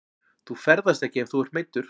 Þú ferðast ekki ef þú ert meiddur.